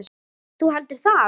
Þú heldur það?